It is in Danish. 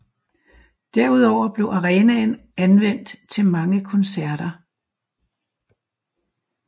Derudover blev arenaen anvendt til mange koncerter